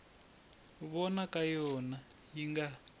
vona ka yona yi nga